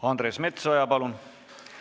Andres Metsoja, palun!